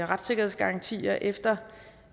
retssikkerhedsgarantier efter